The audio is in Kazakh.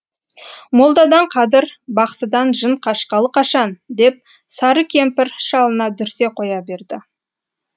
молдадан қадір бақсыдан жын қашқалы қашан деп сары кемпір шалына дүрсе қоя берді